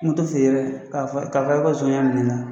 Moto feere k'a fɔ karisa ko nson y'a minɛ n na.